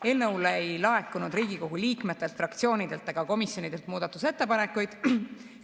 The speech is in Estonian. Eelnõu kohta ei laekunud Riigikogu liikmetelt, fraktsioonidelt ega komisjonidelt muudatusettepanekuid.